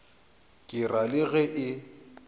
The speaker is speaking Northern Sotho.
ke ra le ge e